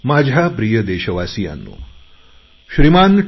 माझ्या प्रिय देशवासियांनो श्रीमान टी